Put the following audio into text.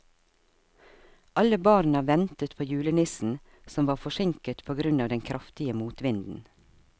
Alle barna ventet på julenissen, som var forsinket på grunn av den kraftige motvinden.